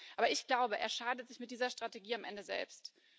Aber ich glaube, er schadet sich mit dieser Strategie am Ende selbst.